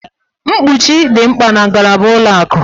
Mkpuchi dị mkpa na ngalaba ụlọ akụ.